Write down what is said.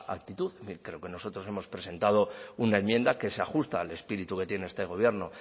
actitud creo que nosotros hemos presentado una enmienda que se ajusta al espíritu que tiene este gobierno